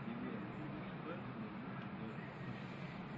привет что это за звуки издаёт мартышка